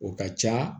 O ka ca